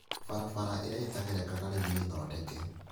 Barabara iria itaragerekaga rĩu nĩthondeke